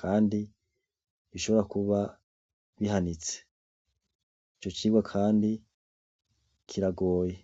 Kandi bishobora kuba bihanitse. ico cirwa Kandi kiragoye.